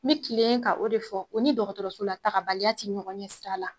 N bi tile ka o de fɔ o ni dɔgɔtɔrɔso la tagabaliya tɛ ɲɔgɔn ɲɛ sira la.